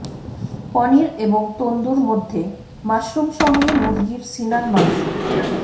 পনির এবং তন্দুর মধ্যে মাশরুম সঙ্গে মুরগীর সিনার মাংস